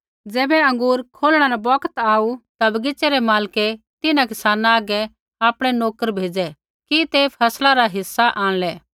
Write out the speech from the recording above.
ज़ैबै अँगूर कौढणै रा बौगत आऊ ता बगीच़ै रै मालकै तिन्हां किसाना हागै आपणै नोकर भेज़ै कि ते फसला रा हिस्सा आंणलै